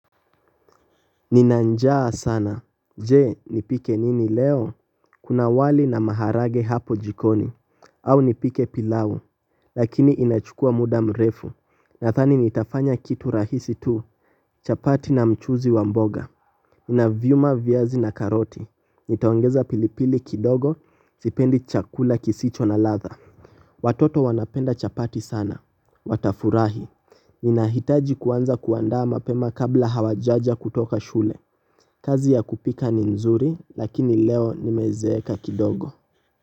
Nina njaa sana. Je, nipike nini leo? Kuna wali na maharage hapo jikoni. Au nipike pilau, lakini inachukua muda mrefu. Nadhani nitafanya kitu rahisi tu. Chapati na mchuzi wa mboga na vyuma, viazi na karoti. Nitaongeza pilipili kidogo, sipendi chakula kisicho na ladha. Watoto wanapenda chapati sana. Watafurahi, ninahitaji kuanza kuandaa mapema kabla hawajaja kutoka shule. Kazi ya kupika ni nzuri lakini leo nimezeeka kidogo.